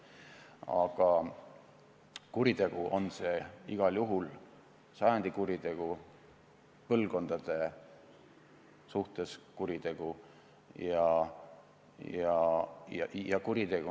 Aga kuritegu on see igal juhul – sajandi kuritegu, põlvkondade vastu sooritatav kuritegu.